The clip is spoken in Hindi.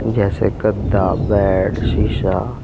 जैसे गद्दा बेड शीशा--